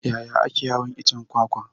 Yaya ake hawan iccen kwakwa?